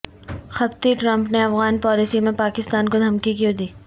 خبطی Trump نے Afghan policy میں پاکستان کو دھمکی کیو ں دی